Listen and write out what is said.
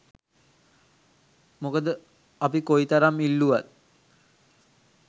මොකද අපි කොයි තරම් ඉල්ලුවත්